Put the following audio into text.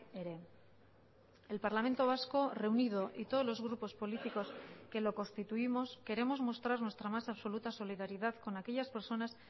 ere el parlamento vasco reunido y todos los grupos políticos que lo constituimos queremos mostrar nuestra más absoluta solidaridad con aquellas personas